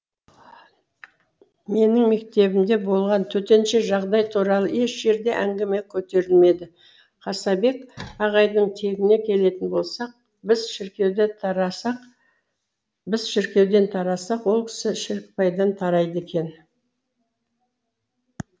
менің мектебімде болған төтенше жағдай туралы еш жерде әңгіме көтерілмеді қасабек ағайдың тегіне келетін болсақ біз шіркеуден тарасақ ол кісі шірікбайдан тарайды екен